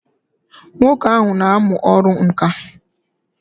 Nwoke ahụ n'amụ ọrụ ǹkà